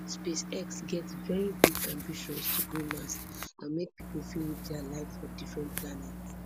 space x get veri big ambitions to go mars and make pipo fit live dia life for different planets